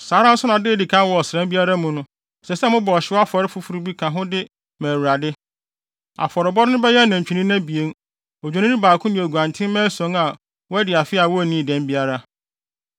“ ‘Saa ara nso na da a edi kan wɔ ɔsram biara mu no, ɛsɛ sɛ mobɔ ɔhyew afɔre foforo bi ka ho de ma Awurade. Afɔrebɔde no bɛyɛ nantwinini abien, Odwennini baako ne nguantenmma ason a wɔadi afe a wonnii dɛm biara.